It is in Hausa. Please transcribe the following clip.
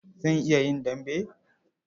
Zan iya yin dambe.